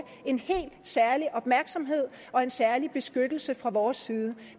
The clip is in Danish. en helt særlig opmærksomhed og en særlig beskyttelse fra vores side